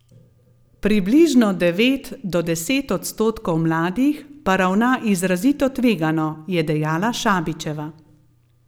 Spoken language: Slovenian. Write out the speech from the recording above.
Približno devet do deset odstotkov mladih pa ravna izrazito tvegano, je dejala Šabićeva.